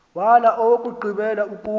wala owokugqibela ukuba